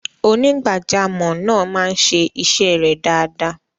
onígbàjàmọ̀ naa maa n se ise re dada